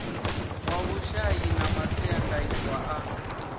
wa vhushai na masiandaitwa a